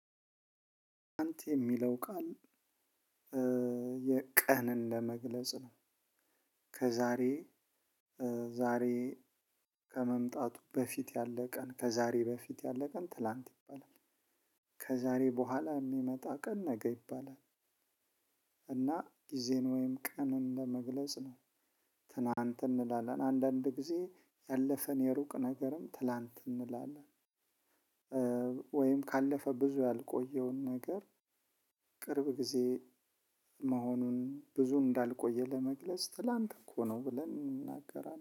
አንተ የሚለው ቃል የ ቀንን ለመግለጽ ነው። ከዛሬ ዛሬ ከመምጣቱ በፊት ያለው ቀን ከዛሬ በፊት ያለ ቀን ትላንት ይባላል። ከዛሬ በኋላ የሚመጣ ቀን ነገ ይባላል። እና ጊዜን ወይም ቀንን ለመግለጽ ነው። ትናንት እንላለን አንዳንድ ጊዜ ያለፈን የሩቅ ነገርም ትላንት እንላለን። ወይም ካለፈ ብዙ ያልቆየውን ነገር ቅርብ ጊዜ መሆኑን ብዙ እንዳልቆየ ለመግለጽ ትላንት እኮ ነው ብለን እናገራለን።